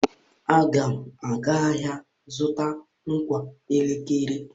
Aga m aga ahịa zụta ngwa eletriki.